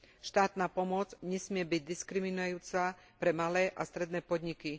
Štátna pomoc nesmie byť diskriminujúca pre malé a stredné podniky.